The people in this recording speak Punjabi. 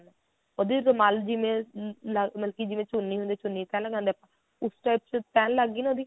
ਉਹਦੀ ਰੁਮਾਲ ਜਿਵੇਂ ਆ ਜਿਵੇਂ ਚੁੰਨੀ ਹੁੰਦੀ ਆ ਚੁੰਨੀ ਤਿਹ ਲਗਾਂਦੇ ਹੁੰਦੇ ਆ ਉਸ type ਚ ਤਿਹ ਲੱਗਗੀ ਨਾ ਉਹਦੀ